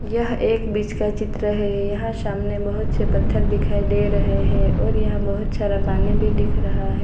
यह एक बीच का चित्र है यहां सामने बहुत से पत्थर दिखाई दे रहे हैं और यहां बहुत सारा पानी भी दिख रहा है।